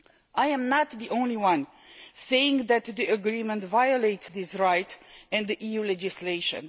I am not the only person saying that the agreement violates this right and EU legislation